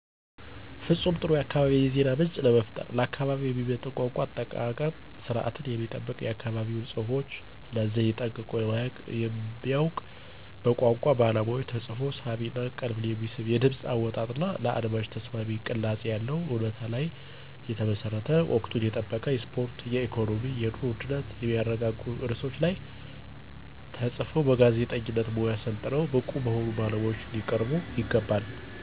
ፍፁም ጥሩ የአካባቢ የዜና ምንጭ ለመፍጠር። ለአካባቢው የሚመጥን የቋንቋ አጠቃቀም ስርዓትን የሚጠብቅ የአካባቢውን ፅሁፎች እና ዘየ ጠንቅቆ የሚያውቅ በቋንቋ ባለሙያዎች ተፅፎ ሳቢ እና ቀልብን የሚስብ የድምፅ አወጣጥ እና ለአድማጭ ተስማሚ ቅላፄ ያለው፣ እውነታ ላይ የተመሠረተ፣ ወቅቱን የጠበቁ የስፖርት፣ የኢኮኖሚ፣ የኑሮ ውድነትን የሚያረጋጉ ርዕሶች ላይ ተፅፈው በጋዜጠኝነት ሙያ ሠልጥነው ብቁ በሆኑ ባለሙያዎች ሊቀርቡ ይገባል።